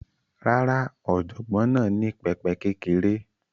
Rárá, ọ̀jọ̀gbọ́n náà ní pẹpẹ kékeré